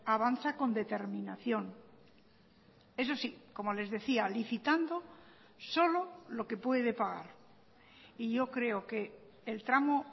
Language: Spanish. avanza con determinación eso sí como les decía licitando solo lo que puede pagar y yo creo que el tramo